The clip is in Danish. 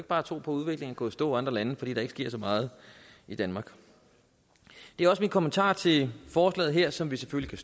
bare tro på at udviklingen går i stå i andre lande fordi der ikke sker så meget i danmark det er også min kommentar til forslaget her som vi selvfølgelig